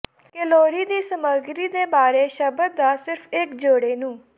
calorie ਦੀ ਸਮੱਗਰੀ ਦੇ ਬਾਰੇ ਸ਼ਬਦ ਦਾ ਸਿਰਫ਼ ਇੱਕ ਜੋੜੇ ਨੂੰ